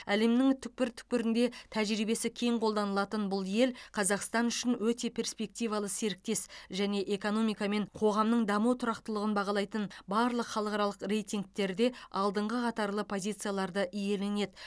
әлемнің түкпір түкпірінде тәжірибесі кең қолданылатын бұл ел қазақстан үшін өте перспективалы серіктес және экономика мен қоғамның даму тұрақтылығын бағалайтын барлық халықаралық рейтингтерде алдыңғы қатарлы позицияларды иеленеді